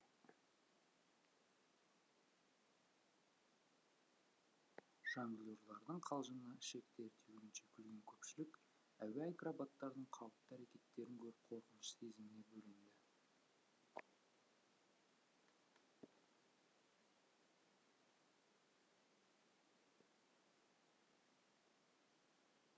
жонглерлардың қалжыңына ішектері түйілгенше күлген көпшілік әуе акробаттарының қауіпті әрекеттерін көріп қорқыныш сезіміне бөленді